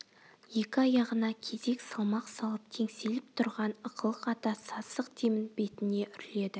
екі аяғына кезек салмақ салып теңселіп тұрған ықылық ата сасық демін бетіне үрледі